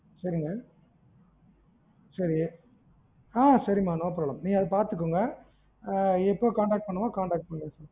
சரிங்க சரி ஆஹ் சரி மா no problem நீங்க அத பாத்துக்கோங்க, ஆஹ் எப்போ contact பண்ணணுமோ contact பண்ணுங்க